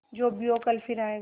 जो भी हो कल फिर आएगा